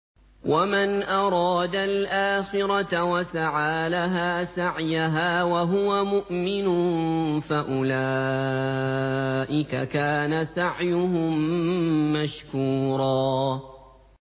وَمَنْ أَرَادَ الْآخِرَةَ وَسَعَىٰ لَهَا سَعْيَهَا وَهُوَ مُؤْمِنٌ فَأُولَٰئِكَ كَانَ سَعْيُهُم مَّشْكُورًا